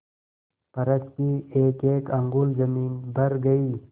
फर्श की एकएक अंगुल जमीन भर गयी